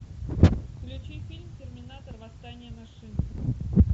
включи фильм терминатор восстание машин